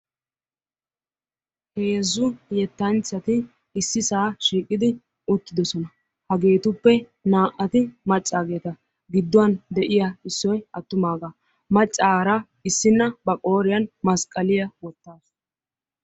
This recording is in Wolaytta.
heezzu yetanchati issisaa shiiqidi uttidosona. hageetuppe naa'ati macaageeta issoy attumaagaa. macaara issina ba qooriyani masqaliya wotaasu.